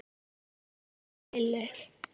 Það lifnaði yfir Lillu.